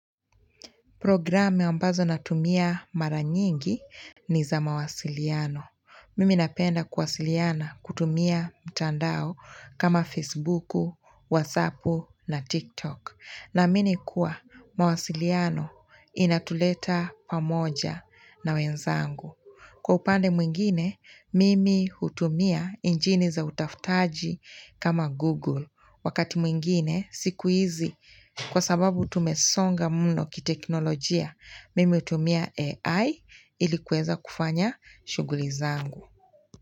Programu ambazo natumia mara nyingi ni za mawasiliano. Mimi napenda kuwasiliana kutumia mtandao kama Facebuku, WhatsAppu na TikTok. Naamini kuwa mawasiliano inatuleta pamoja na wenzangu. Kwa upande mwingine, mimi hutumia injini za utafutaji kama Google. Wakati mwingine, siku hizi, kwa sababu tumesonga mno kiteknolojia, mimi hutumia AI ili kuweza kufanya shughuli zangu.